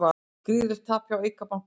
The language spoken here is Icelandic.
Gríðarlegt tap hjá Eik banka